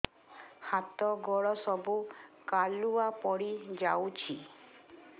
ହାତ ଗୋଡ ସବୁ କାଲୁଆ ପଡି ଯାଉଛି